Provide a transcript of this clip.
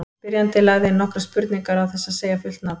Spyrjandi lagði inn nokkrar spurningar án þess að segja fullt nafn.